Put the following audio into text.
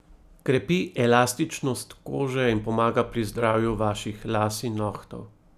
Krepi elastičnost kože in pomaga pri zdravju vaših las in nohtov.